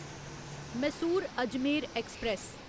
Mysore Ajmer express